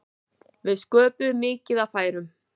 Við sköpuðum mikið af færum.